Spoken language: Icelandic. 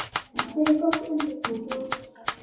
Hér er gott undir bú, grösugt og fallegt.